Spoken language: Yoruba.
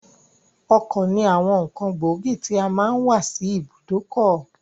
Ọkọ̀ ní àwọn ǹkan gbóògì tí a máa n wà sí ibùdó ọkọ̀.